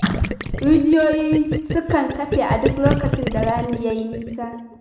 Rijiyoyi sukan ƙafe a duk lokacin da rani ya yi nisa.